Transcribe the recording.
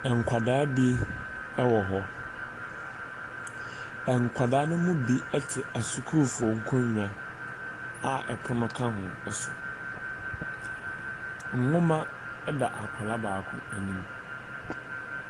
Nkwadaa bi wɔ hɔ. Nkwadaa no mu bi te asukuufoɔ nkonnwa a pono ka ho so. Nwoma da akwadaa baako anim.